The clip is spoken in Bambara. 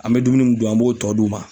An be dumuni mun dun an b'o tɔ d'u ma.